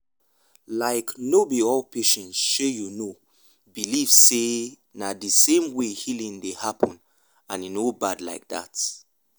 like no be all patients shey you know believe sey na the same way healing dey happen and e no bad like that.